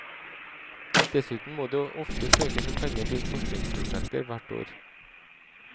Dessuten må det ofte søkes om penger til forskningsprosjekter hvert år.